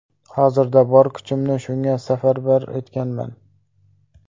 Hozirda bor kuchimni shunga safarbar etganman.